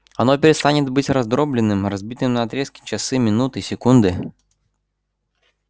оно перестанет быть раздроблённым разбитым на отрезки часы минуты секунды